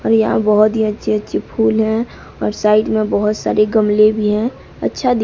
और यहां बहोत ही अच्छी अच्छी फूल हैं और साइड में बहोत सारे गमले भी हैं अच्छा दिख--